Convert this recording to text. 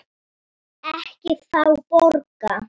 Ekki fá borga.